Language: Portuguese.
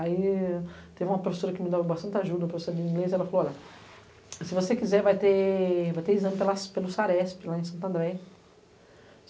Aí teve uma professora que me dava bastante ajuda, uma professora de inglês, e ela falou, olha, se você quiser, vai ter exame pelo SARESP, lá em Santo André.